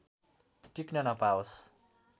टिक्न नपाओस्